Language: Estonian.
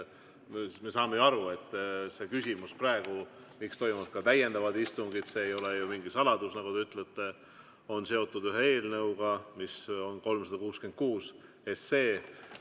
Me saame ju aru, et see, miks toimuvad ka täiendavad istungid – see ei ole mingi saladus, nagu te ütlete –, on seotud ühe eelnõuga, mis on 366 SE.